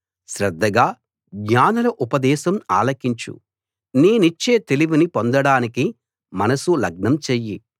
శ్రద్ధగా జ్ఞానుల ఉపదేశం ఆలకించు నేనిచ్చే తెలివిని పొందడానికి మనసు లగ్నం చెయ్యి